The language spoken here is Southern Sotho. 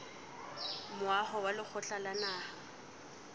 moaho wa lekgotla la naha